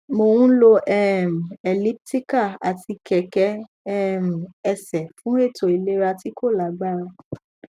mo n lò um elliptical ati kẹkẹ um ẹsẹ fun eto ilera ti ko lagbara